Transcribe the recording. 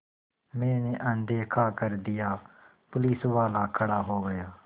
मैंने अनदेखा कर दिया पुलिसवाला खड़ा हो गया